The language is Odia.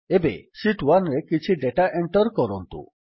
ଏବେ ଶୀତ୍ 1ରେ କିଛି ଡେଟା ଏଣ୍ଟର୍ କରନ୍ତୁ